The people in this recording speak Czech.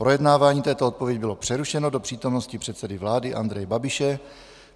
Projednávání této odpovědi bylo přerušeno do přítomnosti předsedy vlády Andreje Babiše.